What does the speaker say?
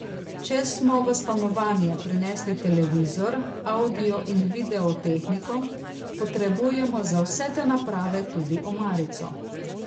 Če smo v stanovanje prinesli televizor, avdio in video tehniko, potrebujemo za vse te naprave tudi omarico.